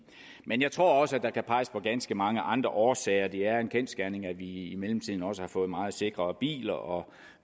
men jeg tror også at der kan peges på ganske mange andre årsager det er en kendsgerning at vi i mellemtiden også har fået meget sikrere biler og